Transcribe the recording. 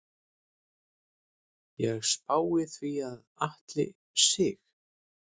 Ég spái því að Atli Sig.